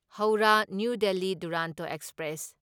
Howrah New Delhi Duronto express